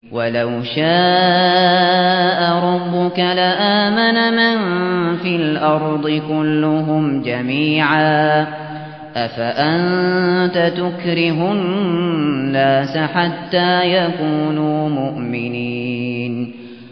وَلَوْ شَاءَ رَبُّكَ لَآمَنَ مَن فِي الْأَرْضِ كُلُّهُمْ جَمِيعًا ۚ أَفَأَنتَ تُكْرِهُ النَّاسَ حَتَّىٰ يَكُونُوا مُؤْمِنِينَ